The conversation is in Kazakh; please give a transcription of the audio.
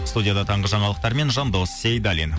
студияда таңғы жаңалықтармен жандос сейдаллин